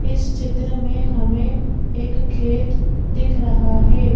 इस चित्र में हमें एक खेत दिख रहा है।